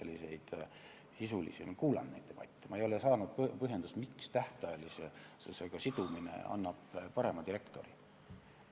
Ma olen kuulanud neid debatte, aga ma ei ole saanud teada põhjendust, miks tähtajalisusega sidumine annaks parema direktori.